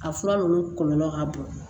A fura ninnu kɔlɔlɔ ka bon